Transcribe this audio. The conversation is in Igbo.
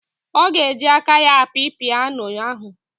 Ọ ga-eji aka ya api piyano ahụ.